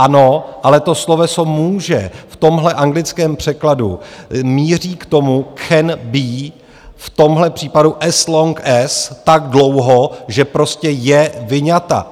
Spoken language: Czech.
Ano, ale to sloveso "může" v tomhle anglickém překladu míří k tomu can be, v tomhle případu as long as, tak dlouho, že prostě je vyňata.